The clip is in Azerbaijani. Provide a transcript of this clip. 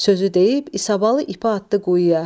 Sözü deyib İsabalı ipi atdı quyuya.